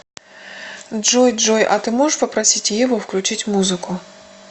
джой джой а ты можешь попросить еву включить музыку